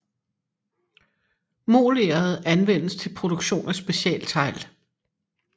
Moleret anvendes til produktion af specialtegl